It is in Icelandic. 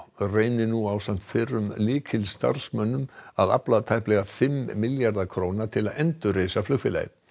reynir nú ásamt fyrrum lykilstarfsmönnum að afla tæplega fimm milljarða króna til að endurreisa flugfélagið